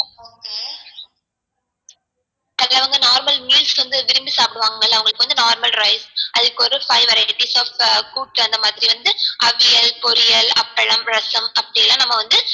அவங்க normal meals வந்து விரும்பி சாப்டுவாங்க ல அவங்களுக்கு வந்து normal rice அதுக்கு ஒரு five varieties of கூட்டு அது மாதிரி வந்து அவியல் பொரியல் அப்பளம் ரசம் அப்டிலாம் நம்ம வந்து